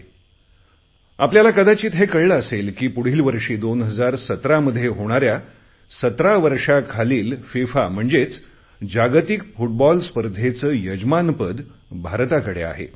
तुम्हाला कदाचित हे कळले असेल की पुढील वर्षी 2017 मध्ये होणाऱ्या 17 वर्षाखालील एफआयएफए अर्थात फिफा म्हणजेच जागतिक फुटबॉल स्पर्धेचे यजमानपद भारताकडे आहे